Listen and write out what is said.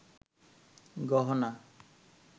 গহনা